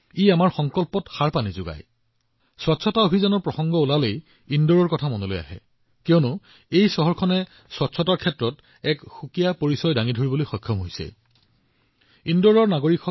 আমি ভালদৰে জানো যে যেতিয়াই স্বচ্ছ ভাৰত অভিযানৰ কথা আহে ইন্দোৰৰ নাম আহেই কাৰণ ইন্দোৰে পৰিষ্কাৰ পৰিচ্ছন্নতাৰ ওপৰত এক বিশেষ প্ৰভাৱ সৃষ্টি কৰিছে আৰু ইন্দোৰৰ নাগৰিকসকলো এই অভিনন্দনৰ অধিকাৰী